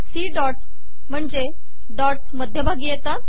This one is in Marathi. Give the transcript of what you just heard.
सी डॉटस महणजे डॉटस् मधयभागी येतात